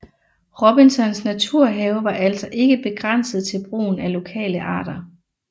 Robinsons naturhave var altså ikke begrænset til brugen af lokale arter